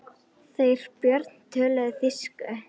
Þeir Björn töluðu þýsku.